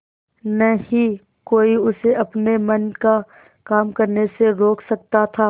न ही कोई उसे अपने मन का काम करने से रोक सकता था